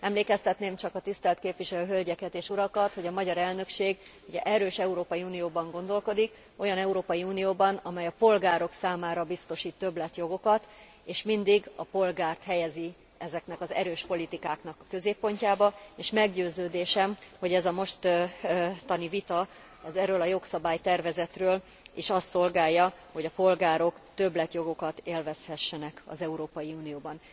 Emlékeztetném csak a tisztelt képviselő hölgyeket és urakat, hogy a magyar elnökség egy erős Európai Unióban gondolkodik, olyan Európai Unióban, amely a polgárok számára biztosít többletjogokat és mindig a polgárt helyezi ezeknek az erős politikáknak a középpontjába, és meggyőződésem, hogy ez a mostani vita erről a jogszabálytervezetről is azt szolgálja, hogy a polgárok többletjogokat élvezhessenek az Európai Unióban.